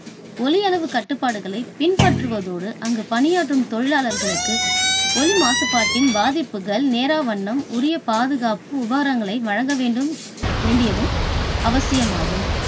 ஒலி அளவு கட்டுப்பாடுகளை பின்பற்றுபதோடு அங்கு பணியாற்றும் தொழிலாளர்களுக்கு ஒலி மாசுபாட்டின் பாதிப்புகள் நேராவண்ணம் உரிய பாதுகாப்பு உபகரணங்களை வழங்க வேண்டும்~வேண்டியதும் அவசியமாகும்.